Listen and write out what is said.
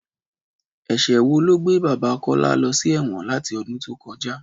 Ẹ̀ṣẹ̀ wo ló gbé bàbá Kọ́lá lọ sí ẹ̀wọ̀n láti ọdún tó kọjá?